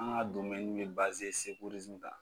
An ka domɛni yu e bazi kan.